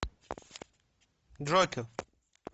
джокер